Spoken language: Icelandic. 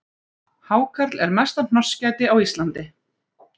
Hákarl er mesta hnossgæti á Íslandi